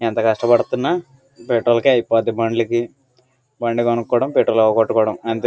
ఎంత కష్టపడిని పెట్రోల్ కి అయిపోతాది బండ్లకి బండి కొనుక్కోవడం పెట్రోల్ అంతే.